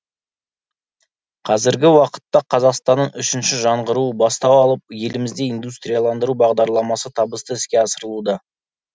қазіргі уақытта қазақстанның үшінші жаңғыруы бастау алып елімізде индустрияландыру бағдарламасы табысты іске асырылуда